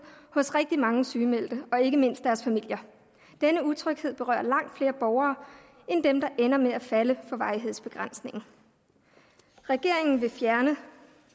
hos rigtig mange sygemeldte og ikke mindst deres familier denne utryghed berører langt flere borgere end dem der ender med at falde for varighedsbegrænsningen regeringen vil fjerne